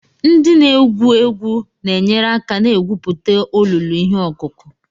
Ndị na-egwu egwu na-enyere aka na-egwupụta olulu ihe ọkụkụ.